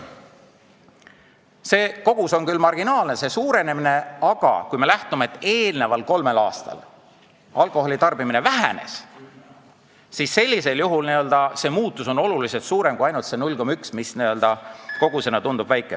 See kasv on küll marginaalne, aga kui me lähtume teadmisest, et eelnenud kolmel aastal alkoholi tarbimine vähenes, siis on selge, et muutus on märksa suurem kui see 0,1 liitrit, mis kogusena tundub väike.